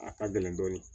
A ka gɛlɛn dɔɔnin